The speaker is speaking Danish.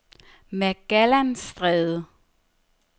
Magellanstrædet